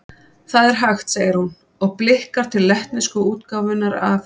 Það er hægt, segir hún, og blikkar til lettnesku útgáfunnar af